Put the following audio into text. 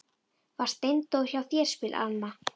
Var Steindór hjá þér, spyr Alma.